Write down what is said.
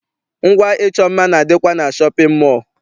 Ngwa ịchọ mma na- adịkwa na shọpịn mọọ.